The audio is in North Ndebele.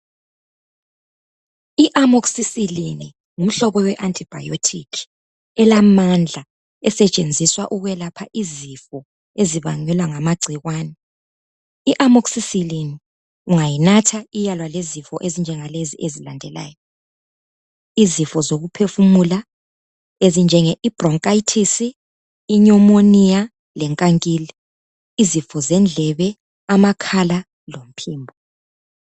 Iamoxycillin ngumhlobo we antibiotic elamandla esetshenziswa ukwelapha izifo ezibangelwa ngamagcikwane. Iamoxycillin ungawunatha iyalwa lezifo ezifana lalezi ezilandelayo, izifo zokuphefumula ezinjengebroncitis, pneumonia lenkankili, izifo zendlebe, amakhala lomphimbo.